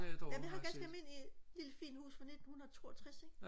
jeg vil have et ganske almindeligt lille fint hus fra 1962 ikke